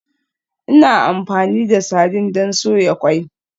Ina amfani da sardine don soya ƙwai.